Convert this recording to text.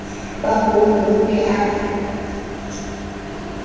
ba bonwe o ne a